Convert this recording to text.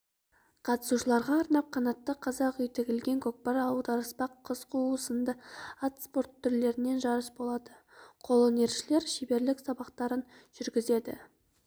қатысушыларға арнап қанатты қазақ үй тігілген көкпар аударыспақ қыз қуу сынды ат спорты түрлерінен жарыс болады қолөнершілер шеберлік сабақтарын жүргізеді